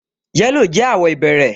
Yẹ́lò jẹ́ àwọ̀ ìbẹ̀rẹ̀